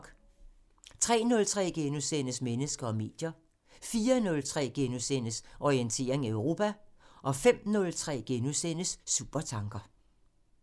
03:03: Mennesker og medier * 04:03: Orientering Europa * 05:03: Supertanker *